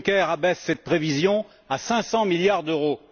Juncker abaisse cette prévision à 500 milliards d'euros.